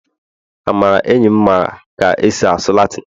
amara enyim mara ka esi asụ latịn